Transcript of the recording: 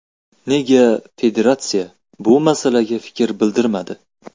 Nega federatsiya bu masalaga fikr bildirmadi?